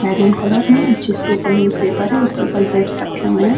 Maroon colour में जिसके ऊपर न्यूज़ पेपर है उसके ऊपर ग्रेप्स रखे है।